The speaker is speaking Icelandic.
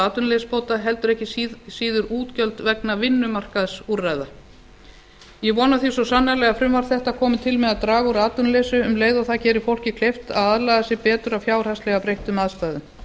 atvinnuleysisbóta heldur ekki síður útgjöld vegna vinnumarkaðsúrræða ég vona því svo sannarlega að frumvarp þetta komi til með að draga úr atvinnuleysi um leið og það gerir fólki kleift að aðlaga sig betur að fjárhagslega breyttum aðstæðum